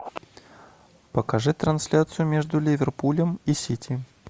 покажи трансляцию между ливерпулем и сити